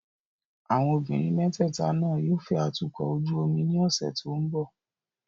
Àwọn obìnrin mẹ́tẹ̀ẹ̀ta náà yóò fẹ́ atukọ̀ ojú omi ní ọ̀sẹ̀ tó ń bọ̀.